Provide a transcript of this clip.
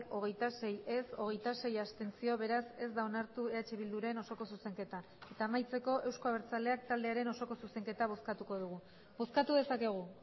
hogeita sei ez hogeita sei abstentzio beraz ez da onartu eh bilduren osoko zuzenketa eta amaitzeko euzko abertzaleak taldearen osoko zuzenketa bozkatuko dugu bozkatu dezakegu